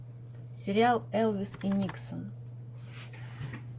сериал элвис и никсон